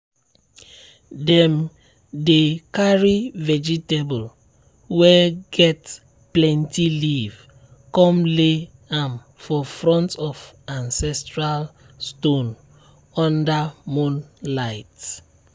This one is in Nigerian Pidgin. dem dey carry vegetable way get plenty leave come lay am for front of ancestral stone under moonlight.